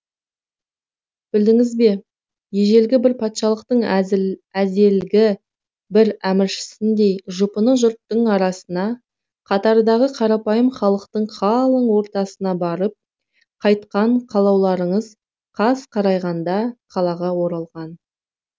білдіңіз бе ежелгі бір патшалықтың әзелгі бір әміршісіндей жұпыны жұрттың арасына қатардағы қарапайым халықтың қалың ортасына барып қайтқан қалаулыларыңыз қас қарайғанда қалаға оралған